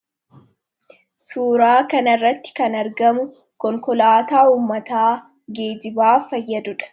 Suuraa kan irratti kan argamu konkolaataa ummataa geejibaa fayyaduudha.